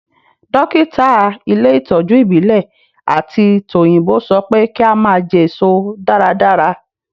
Dókítà ilé ìtọ́jú ìbílẹ̀ àti tòyìnbó sọ pé kí a máa jẹ èso dáradára